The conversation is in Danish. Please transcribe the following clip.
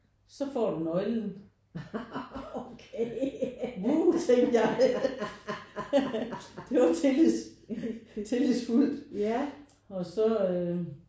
Så får du nøglen wuh tænkte jeg det var tillids tillidsfuldt og så øh